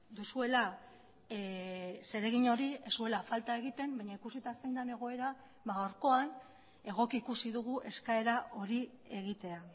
duzuela zeregin hori ez zuela falta egiten baina ikusita zein den egoera gaurkoan egoki ikusi dugu eskaera hori egitea